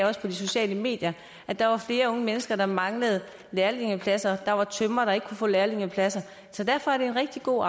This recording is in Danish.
også på de sociale medier at der er flere unge mennesker der mangler lærlingepladser der var tømrere der ikke kunne få lærlingepladser så derfor er det en rigtig god